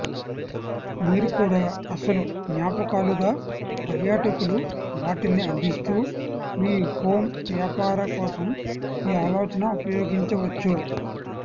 మీరు కూడా అసలు జ్ఞాపకాలుగా పర్యాటకులు వాటిని అందిస్తూ మీ హోమ్ వ్యాపార కోసం ఈ ఆలోచన ఉపయోగించవచ్చు